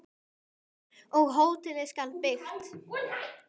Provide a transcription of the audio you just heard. Og hótelið skal byggt.